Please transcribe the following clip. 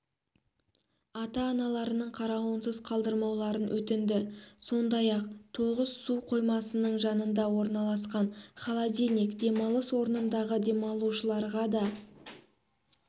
ата-аналарының қарауынсыз қалдырмауларын өтінді сондай-ақ тоғыс су қоймасының жанында орналасқан холодильник демалыс орнындағы демалушыларға да